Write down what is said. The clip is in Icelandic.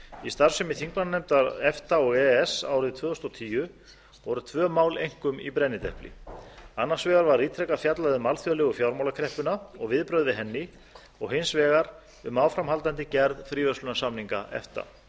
í starfsemi þingmannanefnda efta og e e s árið tvö þúsund og tíu voru tvö mál einkum í brennidepli annars vegar var ítrekað fjallað um alþjóðlegu fjármálakreppuna og viðbrögð við henni og hins vegar um áframhaldandi gerð fríverslunarsamninga efta